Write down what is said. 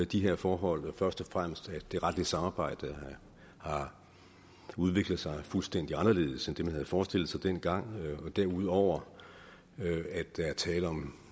de her forhold først og fremmest at det retlige samarbejde har udviklet sig fuldstændig anderledes end det man havde forestillet sig dengang derudover at der er tale om